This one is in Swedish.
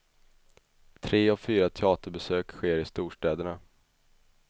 Tre av fyra teaterbesök sker i storstäderna.